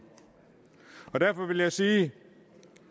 derfor vil jeg sige